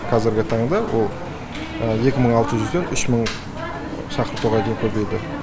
қазіргі таңда ол екі мың алты жүзден үш мың шақыруға дейін көбейді